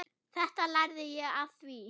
Þetta lærði ég af þér.